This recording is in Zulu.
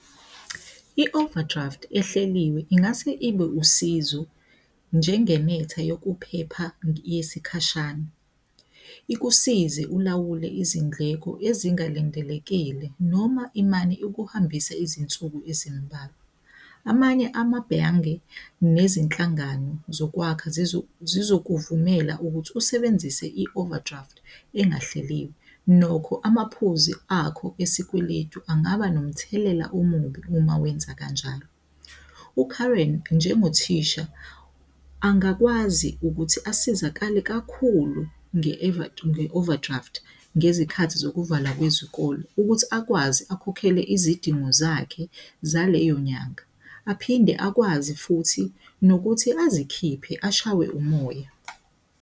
I-overdraft ehleliwe ingase ibe usizo njenge netha yokuphepha yesikhashana. Ikusize ulawule izindleko ezingalindelekile noma imali ukuhambisa izinsuku ezimbalwa. Amanye amabhange nezinhlangano zokwakha zizokuvimela ukuthi usebenzise i-overdraft engahleliwe. Nokho amaphuzu akho esikweletu angaba nomthelela omubi uma wenza kanjalo. UKaren njengothisha angakwazi ukuthi asizakale kakhulu nge-overdraft ngezikhathi zokuvalwa kwezikole ukuthi akwazi akhokhele izidingo zakhe zaleyo nyanga aphinde akwazi futhi nokuthi azikhiphe, ashawe umoya.